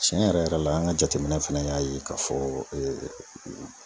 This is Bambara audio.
Tiɲɛ yɛrɛ yɛrɛ la , an ka jateminɛ fana y'a ye ka fɔ